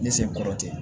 Ne sen kɔrɔ tɛ